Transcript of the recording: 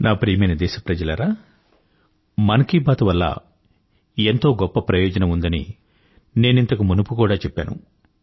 నా ప్రియమైన దేశప్రజలారా మన్ కీ బాత్ వల్ల ఎంతో గొప్ప ప్రయోజనం ఉందని నేనింతకు మునుపు కూడా చెప్పాను